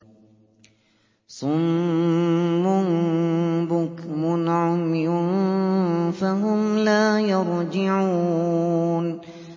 صُمٌّ بُكْمٌ عُمْيٌ فَهُمْ لَا يَرْجِعُونَ